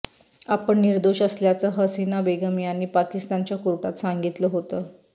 आपण निर्दोष असल्याचं हसीना बेगम यांनी पाकिस्तानच्या कोर्टात सांगितलं होतं